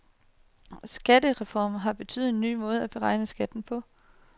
Skattereformen har betydet en ny måde at beregne skatten på.